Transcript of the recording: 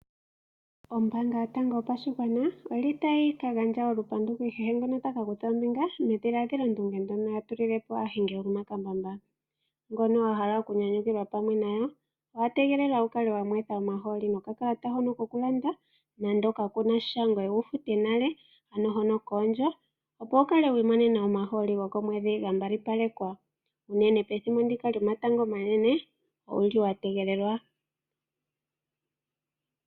Ombaanga yotango yopashigwana oyili tayi ka gandja olupandu ku kehe ngoka taka kutha ombinga medhiladhilandunge ndyoka a tulilepo aahingi yomakambamba . Ngono wa hala oku nyanyukilwa pamwe nayo , owa tegelelwa wu kale wa mwetha omahooli nokakalata hono koku landa nando kakunasha ngoye wu fute nale , ano hono koondjo opo wu kale wi imonena omahooli gokomweedhi ga mbalipalekwa unene pethimbo ndika lyomatango omanene. Owuli wa tegelelwa .